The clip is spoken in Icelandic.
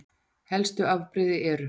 Helstu afbrigði eru